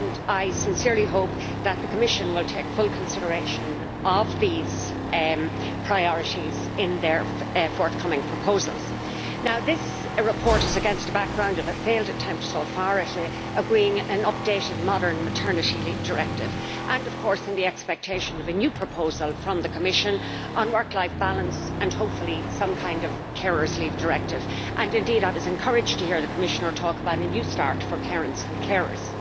I sincerely hope that the Commission will take full consideration of these priorities in their forthcoming proposals. Now this report is against a background of a failed attempt so far at agreeing an updated modern Maternity Leave Directive and, of course, in the expectation of a new proposal from the Commission on work life balance and hopefully some kind of carers leave directive. Indeed, I was encouraged to hear the Commissioner talk about a new start for parents and carers.